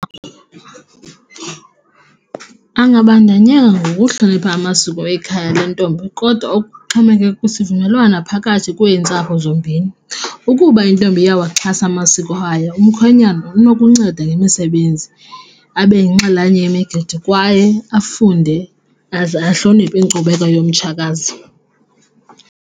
Angabandanyanga ngokuhlonipha amasiko ekhaya lentombi kodwa ukuxhomekeka kwisivumelwano phakathi kweentsapho zombini. Ukuba intombi iyawaxhasa amasiko ayo umkhwenyana inokunceda ngemisebenzi abe yinxalenye yemigidi kwaye afunde aze ahloniphe inkcubeko yomtshakazi.